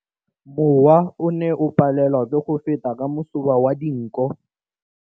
Mowa o ne o palelwa ke go feta ka masoba a dinko.